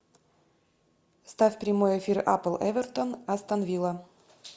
ставь прямой эфир апл эвертон астон вилла